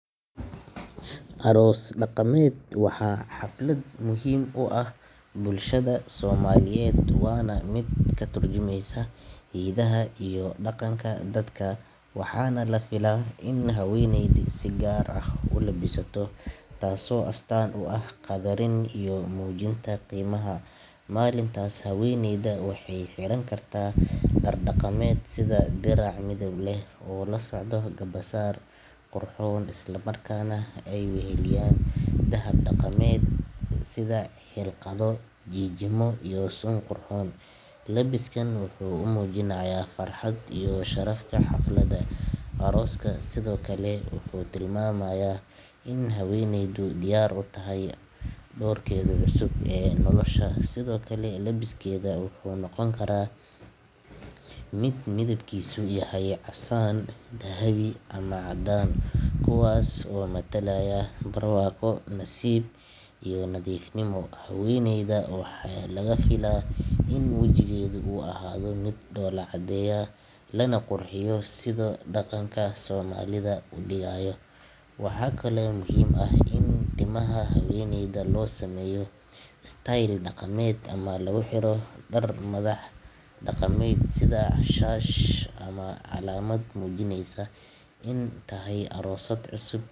Aroos daqameed waxa xaflad muhiim uax bulshada somaliyeed wana mid katurjimeysa hidiha iyo daqanka dadka waxaana lafila in haweneydi si gaar ah ulabisato taaso astaan uax qadarin iyo muujinta qeymaha. Malintaas haweneyda waxey xirankartaa dar daqameed sida dirac midib leh oo lasocda garbasaar qurxoon islamarkaa neh ey waxeliyaan dahab daqameed sida xilqado jijimo iyo sun qurxoon. Labiskan wuxuu umuujinayaa farxad iyo shafarta xaflada arooska sidoo kale wuxuu tilmaamaya in haweneydu diyar utahy dorkedu cusub ee nolosha. Sidookale labiskedu wuxuu noqonkaraa mid midibkisu yahy casaan dahabi ama cadaan kuwaas oo matalaya barwaqo nasiib iyo nadiif nimo. Haweneyda waxaa lafila in wajigeeda uu ahaafo mid doolacadeeya Lana qurxiyo sida daqanka somalia u digaayo. Waxa kale muhiim ah in timaha haweneyda losameeyo style daqameed ama laguxiro darar madax daqameed sida shash ama calamad mujineysa in tahy aroosad cusub.